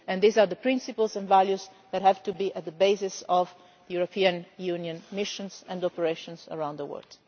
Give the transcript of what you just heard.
based. These are the principles and values that have to be at the basis of the European Union missions and operations around the world.